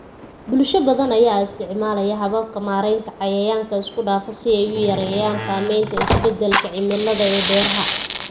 Bulsho badan ayaa isticmaalaya hababka maaraynta cayayaanka isku dhafan si ay u yareeyaan saamaynta isbeddelka cimilada ee beeraha.